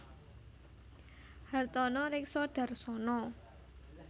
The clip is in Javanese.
Hartono Rekso Dharsono